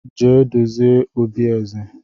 Jee dozie obi eze!